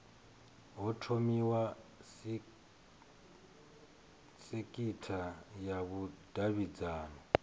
ho thomiwa sekitha ya vhudavhidzano